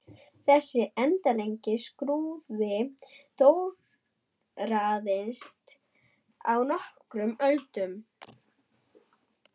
Þessi endanlegi skrúði þróaðist á nokkrum öldum.